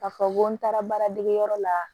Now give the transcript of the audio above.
K'a fɔ ko n taara baara degeyɔrɔ la